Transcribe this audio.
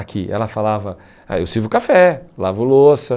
Aqui, ela falava, ah eu sirvo café, lavo louça.